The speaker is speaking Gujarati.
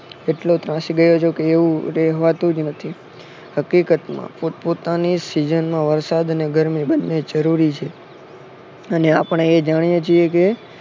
એટ્લો ત્રાસી ગયો છું કે રહેવાતું જ નથી હકીકતમાં પોટ પોતાની season માં વરસાદ ને ગરમુ જરૂરી છે અને આપણે એ જાણીએ છીએ કે